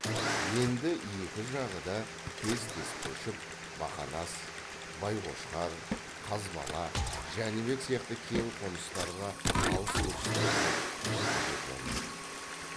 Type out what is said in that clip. енді екі жағы да тез тез көшіп бақанас байқошқар қазбала жәнібек сияқты кең қоныстарға алыс өрістерге жіті жетіп алмақ